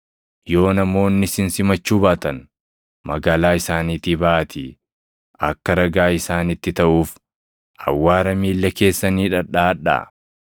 Yoo namoonni isin simachuu baatan, magaalaa isaaniitii baʼaatii akka ragaa isaanitti taʼuuf awwaara miilla keessanii dhadhaʼadhaa.”